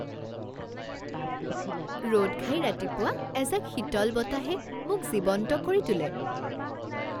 ৰ'দঘাই ৰাতিপুৱা এজাক শীতল বতাহে মোক জীৱন্ত কৰি তোলে